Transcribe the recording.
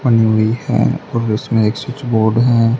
बनी हुई है और उसमें एक स्विच बोर्ड है।